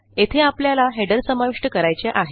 येथे आपल्याला हेडर समाविष्ट करायचे आहे